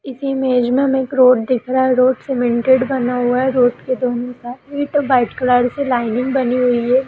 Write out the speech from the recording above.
इस इमेज में हमें एक रोड दिख रहा है रोड सीमेंटेड बना हुआ है रोड के दोनों ईट वाइट कलर से लाइनिंग बनी हुई है।